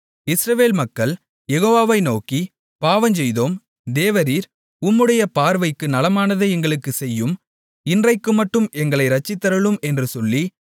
இஸ்ரவேல் மக்கள் யெகோவாவை நோக்கி பாவஞ்செய்தோம் தேவரீர் உம்முடைய பார்வைக்கு நலமானதை எங்களுக்குச் செய்யும் இன்றைக்குமட்டும் எங்களை இரட்சித்தருளும் என்று சொல்லி